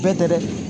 Bɛɛ tɛ dɛ